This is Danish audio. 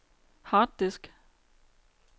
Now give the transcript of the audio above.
harddisk